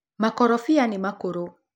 Makorobia nĩmakũrũ.